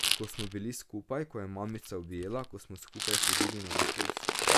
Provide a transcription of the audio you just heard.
Ko smo bili skupaj, ko me je mamica objela, ko smo skupaj hodili na dopust.